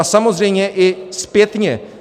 A samozřejmě i zpětně.